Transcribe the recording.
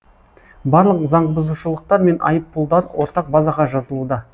барлық заңбұзушылықтар мен айыппұлдар ортақ базаға жазылуда